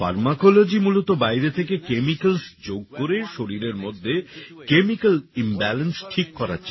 pharmacology মূলত বাইরে থেকে কেমিক্যালস যোগ করে শরীরের মধ্যে কেমিক্যাল ইমব্যালেন্স ঠিক করার চেষ্টা করে